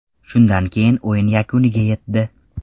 Shundan keyin o‘yin yakuniga yetdi.